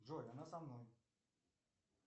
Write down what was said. джой она со мной